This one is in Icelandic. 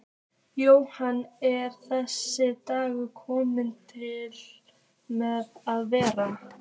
Jóhann: Er þessi dagur kominn til með að vera?